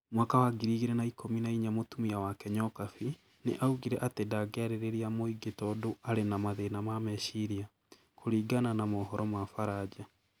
Mwaka wa ngiri igĩrĩ na ikũmi na inya mũtumia wake Nyokabi, nĩ augire atĩ ndangĩarĩria mũingĩ tũndũ arĩ na mathĩna ma meciria, kũringana na mohoro ma Ufaranja.